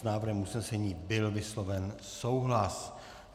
S návrhem usnesení byl vysloven souhlas.